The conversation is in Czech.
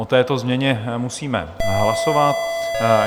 O této změně musíme hlasovat.